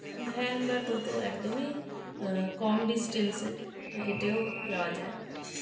van বা toto একদমই অ্যা কম distance -এ তো হেঁটেও যাওয়া যায়